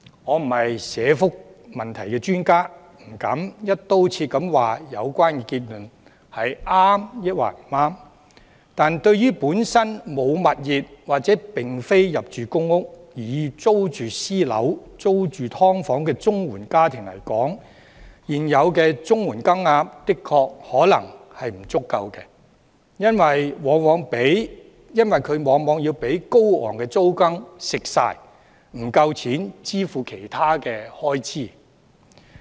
我並非社福問題專家，不敢"一刀切"地指有關結論對與否，但對於本身沒有物業或並非入住公屋，而要租住私樓或"劏房"的綜援家庭來說，現有綜援金額確實可能不足夠，因為綜援往往會被高昂的租金蠶食，不夠錢支付其他開支。